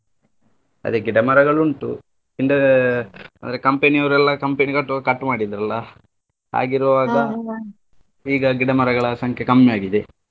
ಅದೇ ಗಿಡ ಮರಗಳುಂಟು ಅಂದ್ರೆ ಅಂದ್ರೆ company ಯೋರೆಲ್ಲಾ company ಕಟ್ಟುವಾಗ್ cut ಮಾಡಿದ್ರಲ್ಲ ಈಗ ಗಿಡ ಮರಗಳ ಸಂಖ್ಯೆ ಕಮ್ಮಿ ಆಗಿದೆ.